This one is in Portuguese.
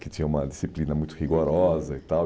Que tinha uma disciplina muito rigorosa e tal.